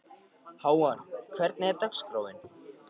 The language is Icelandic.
Hávar, hvernig er dagskráin?